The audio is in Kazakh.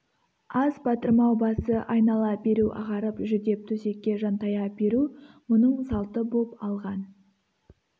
ас батырмау басы айнала беру ағарып жүдеп төсекке жантая беру мұның салты боп алған